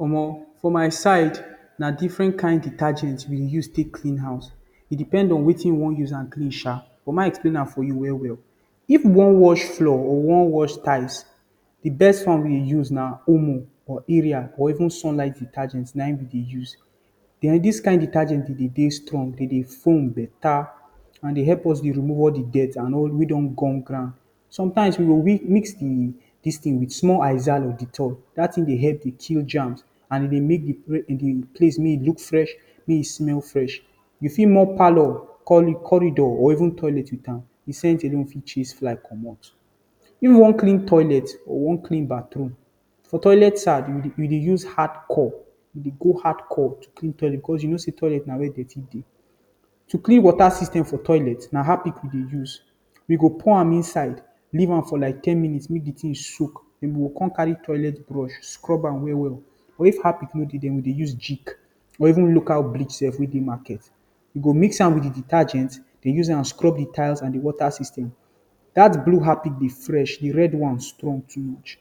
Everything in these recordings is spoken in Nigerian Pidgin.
Omo For my side na different kind detergent we dey use clean house E depend on wetin you wan use am clean sha. But may I explain am for you well well. If you wan wash floor or you wan wash tiles, the best one we Omo, Aerial or even Sunlight detergent na dem we dey use. den Dis kind detergent dey dey strong, dey dey foam beta and dey help us remove all the dirt wey don gum ground. Sometimes we go mix the dis thing with small Izal or Dettol dat thing dey help to kill germs and e dey make the place make e look fresh, make e smell fresh. You fit mop parlor, cor corridor or even toilet with am. The scent alone fit chase fly comot. If you wan clean toilet or wan clean bathroom: For toilet side, we dey use Hardcore we dey go Hardcore to clean toilet because you know say na toilet na were dirty dey. To clean water system for toilet, na Harpic we dey use. We go pour am inside, leave am for like ten minutes make the thing soak, then we go con carry toilet brush scrub am well well. Or if Harpic no dey, we dey use Jik or even local bleach sef wey dey market. You go mix am with the detergent, dey use am scrub the tiles and the water system. Dat blue Harpic dey fresh The red one strong too much.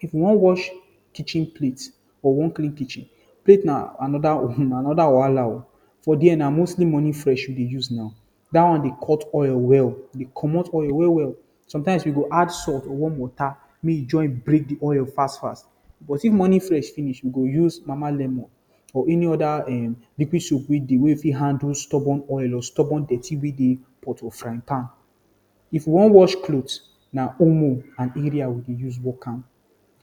If you wan wash kitchen plate or wan clean kitchen Plate na another um Wahala oh! For there, na mostly Morning Fresh we dey use now. Dat one dey cut oil well dey comot oil well well. Sometimes we go add salt or warm water make e join break the oil fast fast. But if Morning Fresh finish, we go use Mama Lemon or any other um liquid soap wey fit handle stubborn oil or stubborn dirty wey dey pot or frying pan. If we wan wash clothe Na Omo and Aerial we dey use work am.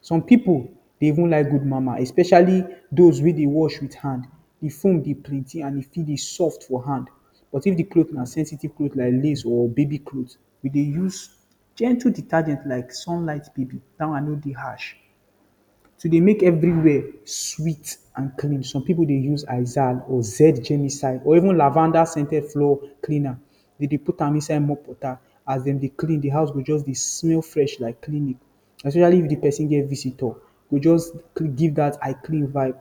Some pipu dey even like Good Mama especially those wey dey wash with hand. The foam dey plenty and e fit dey soft for hand. But if the cloth na sensitive cloth like lace or baby cloth, we dey use gentle detergent like Sunlight Baby. Dat one no dey harsh. To dey make everywhere sweet and clean: Some pipu dey use Izal or Z Germicide or even lavender-scented flower clean am. We dey put am inside mop water. As dem dey clean, the house go just dey smell fresh like clinic especially if the pesin get visitor. E go just give dat “I clean” vibe.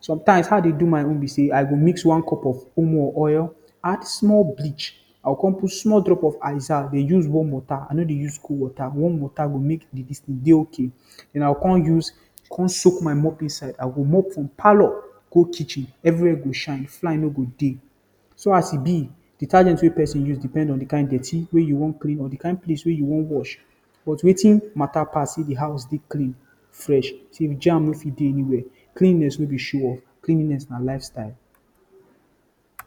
Sometimes how I dey do my own be say: I go mix one cup of Omo or oil add small bleach, I go con put small drop of Izal, dey use warm water. I no dey use cold water. Warm water go make the dis thing dey okay. Then I go con soak my mop inside. From parlor go kitchen everywhere go shine. Fly no dey. So as e be, detergent wey pesin use depend on the kin dirt wey you wan clean or the place wey you wan wash, but wetin matter pass be say the house dey clean, fresh, say germ no fit dey everywhere. Cleanliness no be show off. Cleanliness na lifestyle.